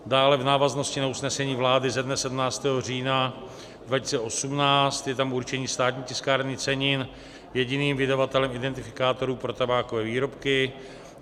Dále v návaznosti na usnesení vlády ze dne 17. října 2018 je tam určení Státní tiskárny cenin jediným vydavatelem identifikátorů pro tabákové výrobky.